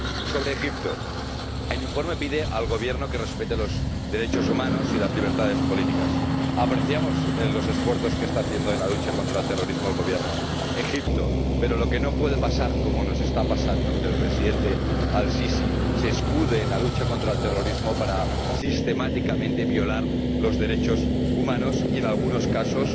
Sobre Egipto, el informe pide al Gobierno que respete los derechos humanos y las libertades políticas. Apreciamos los esfuerzos que está haciendo en la lucha contra el terrorismo el Gobierno egipcio, pero lo que no puede pasar, como está pasando, es que el Presidente Al Sisi se escude en la lucha contra el terrorismo para, sistemáticamente, violar los derechos humanos y, en algunos casos,